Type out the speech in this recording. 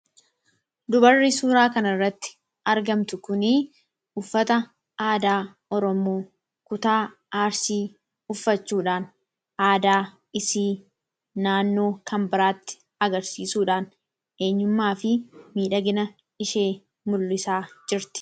Dubarri suuraa kana irraa mul'atu kun, uffata aadaa Oromoo kutaa arsii uffachuudhaan aadaa ishee naannoo kan biraatti agarsiisuudhaan miidhagina ishee mul'isaa jirti.